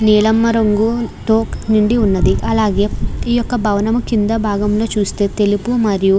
నీలము రంగు తో నిండి ఉన్నది అలాగే ఈ యొక్క భవనము కింద భాగములో చుస్తే తెలుపు మరియు --